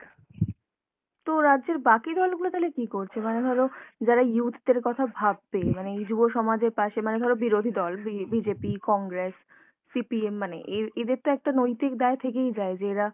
তো রাজ্যের বাকি দলগুলো তাহলে কী করছে? মানে ধরো যারা youth দের কথা ভাববে, মানে এই যুবসমাজের পাশে মানে ধরো বিরোধী দল বি~ BJP, কংগ্রেস, CPM মানে এর এদের তো একটা নৈতিক দায় থেকেই যায় যে এরা